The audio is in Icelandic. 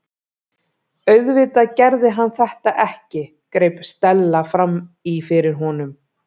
Auðvitað gerði hann þetta ekki- greip Stella fram í fyrir honum.